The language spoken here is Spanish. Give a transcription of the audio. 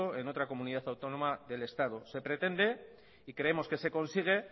en otra comunidad autónoma del estado se pretende y creemos que se consigue